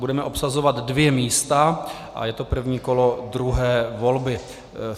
Budeme obsazovat dvě místa a je to první kolo druhé volby.